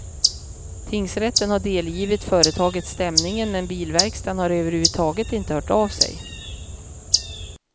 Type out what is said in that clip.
Tingsrätten har delgivit företaget stämningen, men bilverkstaden har överhuvudtaget inte hört av sig.